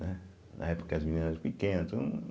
Né. Na época, as meninas eram pequenas então